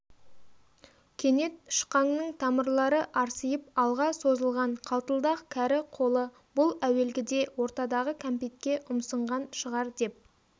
кенет шықаңның тамырлары арсиып алға созылған қалтылдақ кәрі қолы бұл әуелгде ортадағы кәмпитке ұмсынған шығар деп